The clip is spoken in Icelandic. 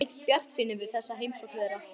Eddu eykst bjartsýni við þessa heimsókn þeirra.